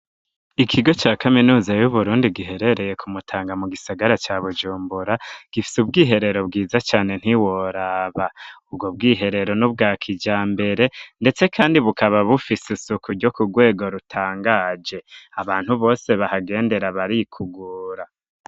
Ikigo ca kaminuza y'uburundi giherereye kumutanga mu gisagara ca bujumbura gifise ubwiherero bwiza cane ntiworaba ubwo bwiherero n'ubwa kijyambere ndetse kandi bukaba bufise isuku ryo ku rwego rutangaje abantu bose bahagendera barikugura.